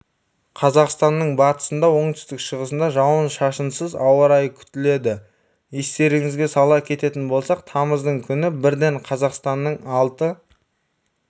қазақстанның батысында оңтүстік-шығысында жауын-шашынсыз ауа райы күтіледі естеріңізге сала кететін болсақ тамыздың күні бірден қазақстанның алты